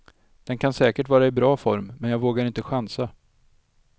Den kan säkert vara i bra form men jag vågar inte chansa.